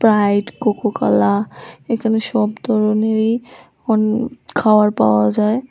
Sprite Coca Cola এখানে সব ধরনেরই অন খাওয়ার পাওয়া যায়।